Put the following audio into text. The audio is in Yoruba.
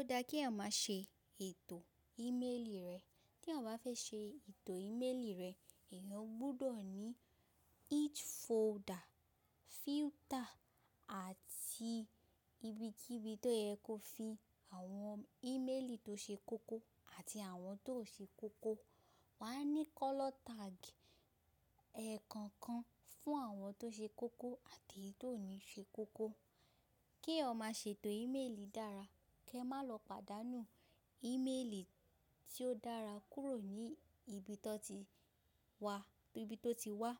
Ó dáa kí ẹ̀yàn má ṣe ètò ìméèlì rẹ. Kí ẹ̀yàn bá fẹ́ ṣe ètò ìméèlì rẹ, ẹ̀yàn gbọdọ̀ ní each folder, filter àti ibi tíbí tó yẹ kó fi àwọn ìméèlì tó ṣe kókó àti àwọn tó o ṣe kókó. Wà á ní color tag ẹ̀ kọ̀ọ̀kan fún àwọn tó ṣe kókó àti èyí tó ní ṣe kókó. Kí ẹ̀yàn má ṣe ètò ìméèlì dára, kí ẹ má lọ pàdánù ìméèlì tí ó dára kúrò ní ibi tó ti wá.